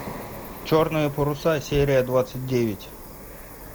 черные паруса серия двадцать девять